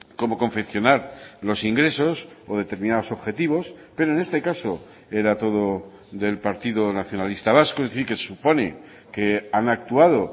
cómo confeccionar los ingresos o determinados objetivos pero en este caso era todo del partido nacionalista vasco es decir que se supone que han actuado